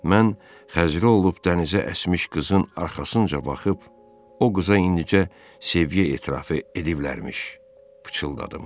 Mən Xəzri olub dənizə əsmiş qızın arxasınca baxıb, o qıza indicə səviyyə etirafı ediblərmiş, pıçıldadım.